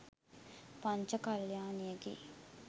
පංච කල්‍යාණියකි.